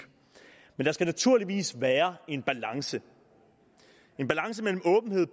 men der skal naturligvis være en balance en balance mellem